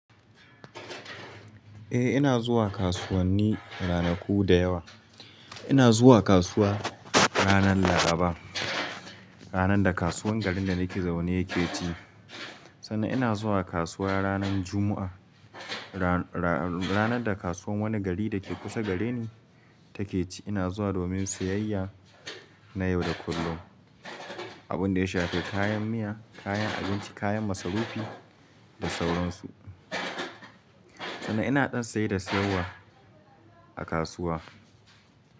Eh ina zuwa kasuwanni ranaku da yawa. Ina zuwa kasuwa ranar Laraba, ranar da kasuwar garin da nake zaune yake ci. Sannan ina zuwa kasuwa ranar Juma'a, ra-ra-ranar da kasuwar wani gari da ke kusa gareni take ci. Ina zuwa domin siyayya na yau da kullum. Abun da ya shafi kayan miya, kayan abinci, kayan masarufi da sauran su. Sannan ina ɗan saye da siyarwa a kasuwa.